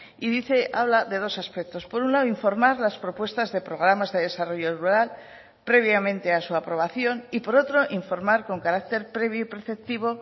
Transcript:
y dice habla de dos aspectos por un lado informar las propuestas de programas de desarrollo rural previamente a su aprobación y por otro informar con carácter previo y preceptivo